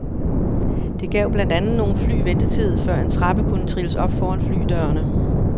Det gav blandt andet nogle fly ventetid, før en trappe kunne trilles op foran flydørene.